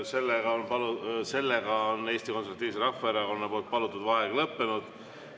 V a h e a e g Eesti Konservatiivse Rahvaerakonna palutud vaheaeg on lõppenud.